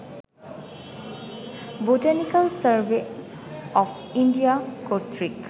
botanical survey of India কর্তৃক